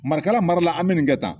Marakala mara la an bɛ nin kɛ tan